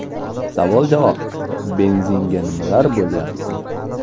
Savol-javob: Benzinga nimalar bo‘layapti?.